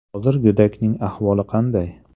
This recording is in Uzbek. Hozir go‘dakning ahvoli qanday?